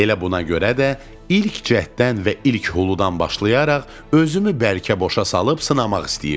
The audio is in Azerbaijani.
Elə buna görə də ilk cəhddən və ilk huludan başlayaraq özümü bərkə boşa salıb sınamaq istəyirdim.